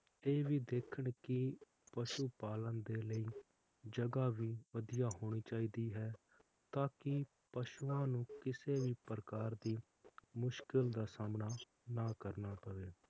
ਇਹ ਵੀ ਦੇਖਣ ਕਿ ਪਸ਼ੂ ਪਾਲਣ ਦੇ ਲਈ ਜਗ੍ਹਾ ਵੀ ਵਧੀਆ ਹੋਣੀ ਚਾਹੀਦੀ ਹੈ ਤਾ ਜੋ ਪਸ਼ੂਆਂ ਨੂੰ ਕਿਸੀ ਵੀ ਪ੍ਰਕਾਰ ਦੀ ਮੁਸੀਬਤ ਦਾ ਸਾਮਣਾ ਨਾ ਕਰਨਾ ਪਵੇ